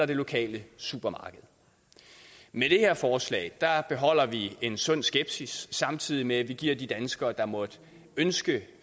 det lokale supermarked med det her forslag beholder vi en sund skepsis samtidig med at vi giver de danskere der måtte ønske